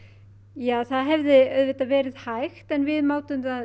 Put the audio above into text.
ja það hefði auðvitað verið hægt en við mátum það